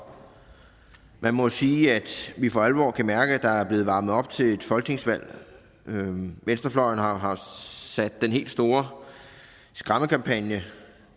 jeg må sige at vi for alvor kan mærke at der er blevet varmet op til et folketingsvalg venstrefløjen har har sat den helt store skræmmekampagne